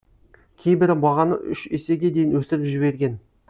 кейбірі бағаны үш есеге дейін өсіріп жіберген